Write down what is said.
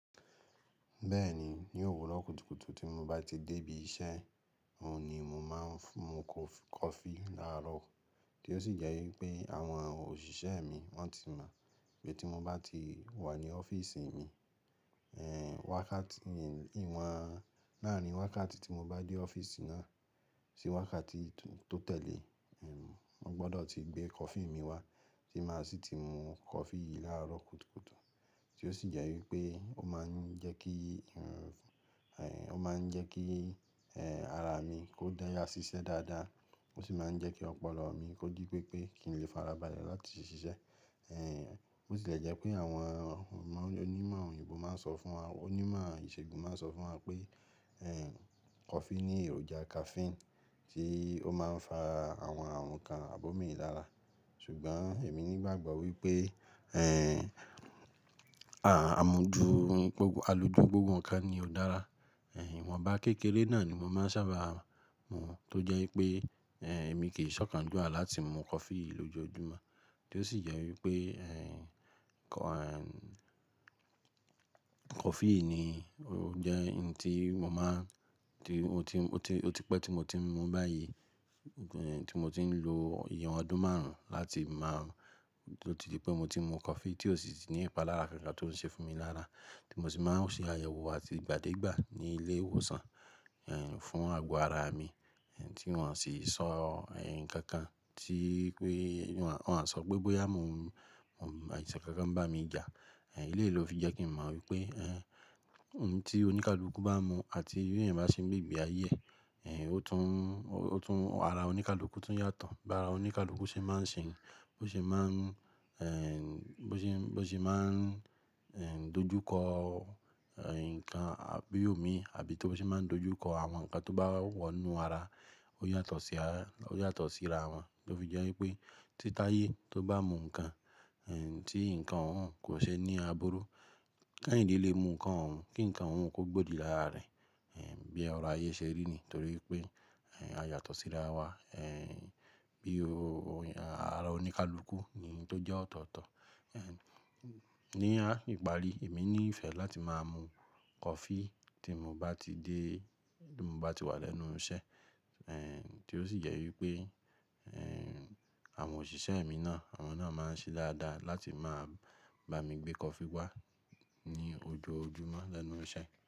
Bẹ́ẹ̀ni ní òwúrọ̀ kùtùkùtù tí mo bá ti dé ibi iṣẹ́, òun ni mo máa ń mu kọ́ọ̀fí láàrọ̀ tí ó sì jẹ́ wípé àwọn òṣìṣẹ́ mi wọ́n ti mọ̀ pé tí mo bá ti wà ní ọ́fíísì mi, wákàtí yen náà ni si wákàtí tí mo bá dé ọ́fíísì náà sí wákàtí tó tẹ̀lé, wọ́n gbọdọ̀ ti gbé kọfí mi wá, tí máa sì ti mu kọfí yìí láàárọ̀ kùtùkùtù. Tí ó sì jẹ́ wípé ó máa ń jẹ́ kí, ó máa ń jẹ́ kí ara mi kó dáya ṣiṣẹ́ dáadáa, ó sì máa ń jẹ́ kí ọpọlọ mi kó ji pé pé kí n lè farabalẹ̀ láti sì ṣiṣẹ́. Bó sì lè jẹ́ pé àwọn onímọ̀ òyìnbó máa ń sọ fún wa, onímọ̀ ìṣègùn máa ń sọ fún wa pé kọfí ní èròjà caffeine tí ó máa ń fa àwọn ǹkan àbómí lára. Ṣùgbọ́n èmi ní ìgbàgbọ́ wípé amójú, alójú gbogbo nǹkan ni ó dára. Ìwọ̀nba kékeré náà ni mo máa ń sábà mu tó jẹ́ wípé èmi kì í ṣọ̀kan juwa láti mu kọfí yìí lójoojúmọ́. Tí ó sì jẹ wípé kọfí yìí ni ó jẹ́ ohun tí mo máa ń, ó ti pẹ́ tí mo ti ń mu báyìí, tí mo ti ń lo ìyẹn ọdún márùn-ún láti máa, tí ó ti di pé mo ti mu kọfí tí ó sì ní ìpalára kankan tó ń ṣe fún mi lára, tí mo sì máa ń ṣe àyẹ̀wò àti ìgbàdégbà ní ilé ìwòsàn fún àgọ́ ara mi tí wọ́n sì sọ nǹkan kan tí pé wọ́n à sọ pé bóyá mo mu àìsàn kankan bá mi jà. Eléyì fi jẹ́ kín mọ̀ wípé oun tí oní kálukú bá ń mu, àti bí èèyàn bá ṣe ń gbé ìgbé ayé ẹ ara oní kálukú tún yàtọ̀. Bí ara oníkálukú ṣe máa ń ṣe, bó ṣe máa ń, bó ṣe máa ń dojú kọ ǹkan àbí omi àbí tó ṣe máa ń dojú kọ àwọn ǹkan tó bá wọ inú ara, ó yàtọ̀ sí ara wọn. Ló ó fi jẹ́ wípé tí táyé tó bá mu ǹkan tí ǹkan òhun kò ṣe ní àbúrú, káìnde lè mu ǹkan òhun kí ǹkan òhun kó gbòdì lára rẹ̀. Bí ọ̀rọ̀ ayé ṣe rí ni nítorí pé a yàtọ̀ sí ara wa. Bí ara oníkálukú ni ohun tó jẹ́ ọ̀tọ̀ọ̀tọ̀. Ní ìparí èmi ní ìfẹ́ láti máa mun kọ́ọ̀fí tí n bá tiwà lẹ́nu iṣẹ́ tí ó sì yẹ wípé àwọn òṣìṣẹ́ mi náà, àwọn náà máa ń ṣe dáadáa láti máa bá mi gbé kọfí wá ní ojoojúmọ́ lẹ́nu iṣẹ́.